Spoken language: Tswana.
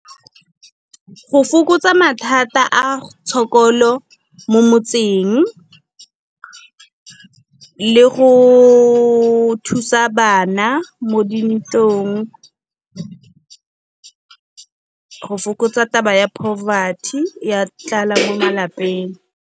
Go fokotsa mathata a tshokolo mo motseng, le go thusa bana mo dintlong. Go fokotsa taba ya poverty ya tlala mo malapeng.